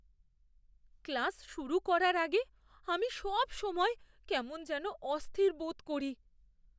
Class শুরু করার আগে আমি সবসময় কেমন যেন অস্থির বোধ করি।